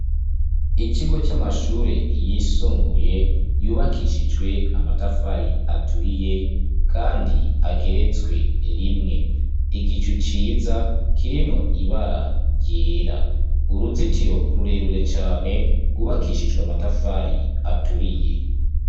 Ikigo c'amashure yisumbuye yubakishijwe amatafari aturiye, kandi ageretswe rimwe igicu ciza kirimwo ibara ryera uruzitiro rurerure cane rubakishijwe amatafari aturiye.